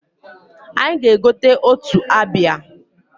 Anyị ga-egota otu abịa.